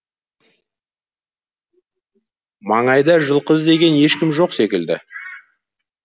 маңайда жылқы іздеген ешкім жоқ секілді